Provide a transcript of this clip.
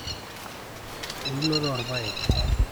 eunoto oorpaek